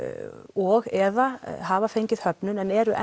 og eða hafa fengið höfnun en eru